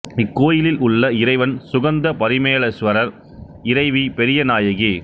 இக்கோயிலில் உள்ள இறைவன் சுகந்த பரிமளேஸ்வரர் இறைவி பெரிய நாயகி